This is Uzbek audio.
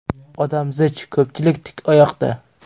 Odam zich, ko‘pchilik tik oyoqda.